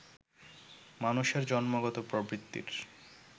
মানুষের জন্মগত প্রবৃত্তির